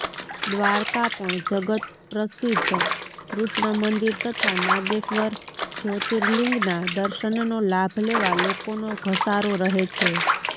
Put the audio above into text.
દ્વારકા પણ જગતપ્રસિધ્ધ કૃષ્ણમંદિર તથા નાગેશ્વર જયોતિર્લિંગના દર્શનનો લાભ લેવા લોકોનો ધસારો રહે છે